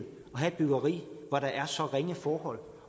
have et byggeri hvor der er så ringe forhold